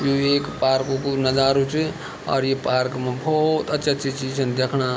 यु एक पार्क कु नजारु च और ये पार्क मा बहौत अच्छी-अच्छी चीज छन देखणा।